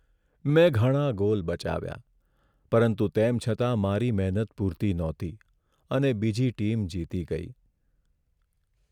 મેં ઘણા ગોલ બચાવ્યા પરંતુ તેમ છતાં મારી મહેનત પૂરતી નહોતી અને બીજી ટીમ જીતી ગઈ.